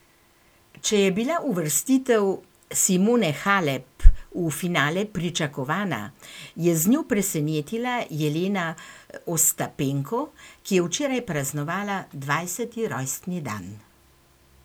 Če je bila uvrstitev Simone Halep v finale pričakovana, je z njo presenetila Jelena Ostapenko, ki je včeraj praznovala dvajseti rojstni dan.